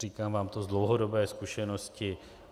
Říkám vám to z dlouhodobé zkušenosti.